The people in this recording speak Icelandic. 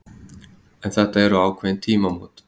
En þetta eru ákveðin tímamót